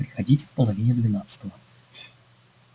приходите в половине двенадцатого